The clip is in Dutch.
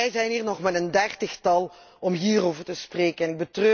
En wij zijn hier nog maar met een dertigtal om hierover te spreken.